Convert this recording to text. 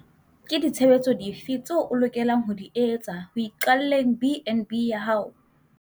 Ke ditshebetso dife tseo o lokelang ho di etsa ho iqalleng BnB ya hao?